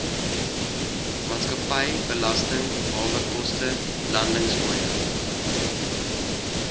maatskappybelasting hawekoste landingsfooie